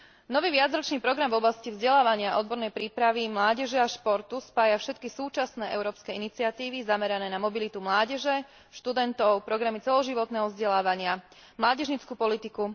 Nový viacročný program v oblasti vzdelávania a odbornej prípravy mládeže a športu spája všetky súčasné európske iniciatívy zamerané na mobilitu mládeže, študentov, programy celoživotného vzdelávania, mládežnícku politiku.